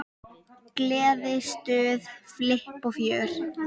Gleði, stuð, flipp og fjör.